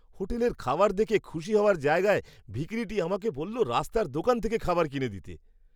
হোটেলের খাবার দেখে খুশি হওয়ার জায়গায়, ভিখিরিটি আমাকে বলল রাস্তার দোকান থেকে খাবার কিনে দিতে!